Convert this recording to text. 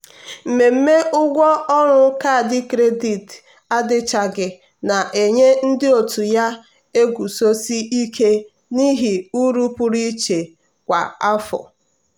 mmemme ụgwọ ọrụ kaadị kredit adịchaghị na-enye ndị otu ya na-eguzosi ike n'ihe uru pụrụ iche kwa afọ.